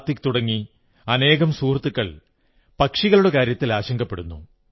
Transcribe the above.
കാർത്തിക്ക് തുടങ്ങി അനേകം സുഹൃത്തുക്കൾ പക്ഷികളുടെ കാര്യത്തിൽ ആശങ്കപ്പെടുന്നു